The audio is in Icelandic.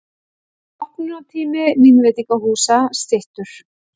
Opnunartími vínveitingahúsa styttur